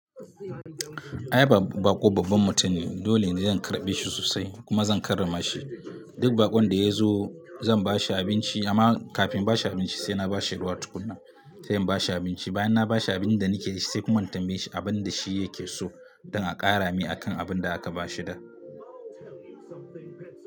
Ai baƙo babban mutum ne, dole ne zan karɓe shi sosai kuma zan karrama shi. Duk baƙon da ya zo Zan bashi abinci amma kafin in ba shi abinci sai na ba shi ruwa tukunna. Sai in ba shi abinci, bayan na ba shi abin da nake dashi sai kuma in tambaye shi abin da shi yake so don a ƙara mai akan abin da aka ba shi da.